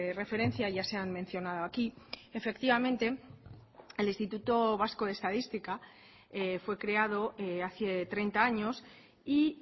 referencia ya se han mencionado aquí efectivamente el instituto vasco de estadística fue creado hace treinta años y